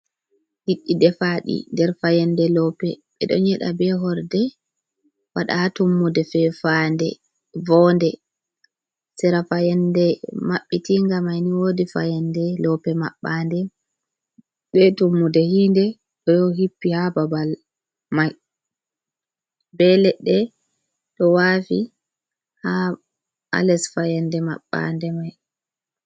Liɗɗi defaɗi nder fayande loope. Ɓe ɗon ɲƴeda be horde waɗa ha tummude fefande vonde. Sera fayande mabbitinga maini woodi fayande loope maɓɓande, be tummude hindé ɗo hippi haa babal mai, be leɗɗe ɗo waafi haa les fayande maɓɓande mai.